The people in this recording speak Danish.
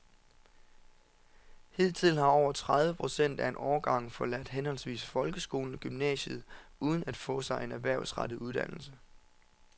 Hidtil har over tredive procent af en årgang forladt henholdsvis folkeskolen og gymnasiet uden at få sig en erhvervsrettet uddannelse.